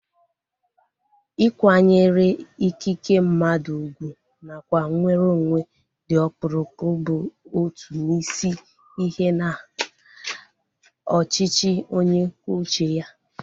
Ịkwanyere ikike mmadụ ugwu nakwa nweronwe dị ọkpụrụkpụ bụ otu n'isi ihe na ọchịchị onye kwuo uche ya